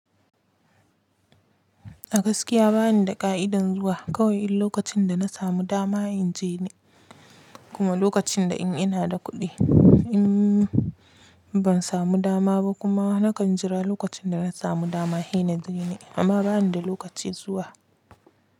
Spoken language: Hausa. A gaskiya bani da ƙa'idan zuwa. Kowai in lokacin da na samu dama in je ne kuma lokacin da in ina da kuɗi. In, in ban samu dama ba kuma nakan jira lokacin da na samu dama haina jai ne. Amma bani da lokacin zuwa.